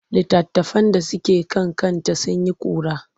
Litattafan da suke kan kanta sun yi ƙura.